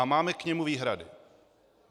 A máme k němu výhrady.